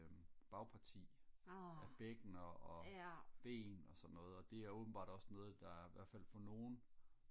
øhm bagparti bækkener og ben og sådan noget og det er åbenbart også noget der i hvertfald for nogen